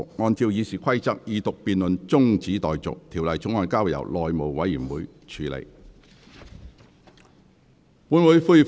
按照《議事規則》，二讀辯論中止待續，條例草案交由內務委員會處理。